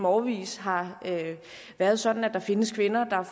årevis har været sådan at der findes kvinder der